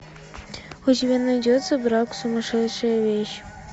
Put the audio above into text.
у тебя найдется брак сумасшедшая вещь